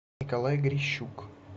николай грищук